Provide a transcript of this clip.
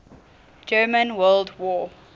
german world war